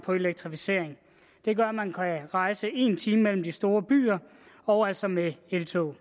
og elektrificering det gør at man kan rejse på en time mellem de store byer og altså med eltog